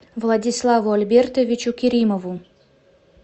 владиславу альбертовичу керимову